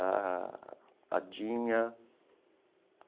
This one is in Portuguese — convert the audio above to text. a Adinha.